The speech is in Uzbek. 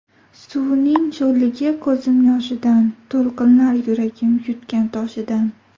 Suvining sho‘rligi ko‘zim yoshidan, To‘lqinlar yuragim yutgan toshidan.